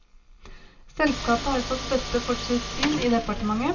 Selskapet har fått støtte for sitt syn i departementet.